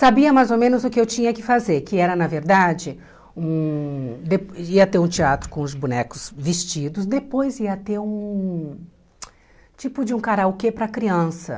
Sabia mais ou menos o que eu tinha que fazer, que era, na verdade, hum de ia ter um teatro com os bonecos vestidos, depois ia ter um tipo de um karaokê para criança.